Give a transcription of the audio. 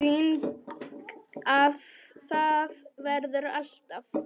Þannig að það verður alltaf.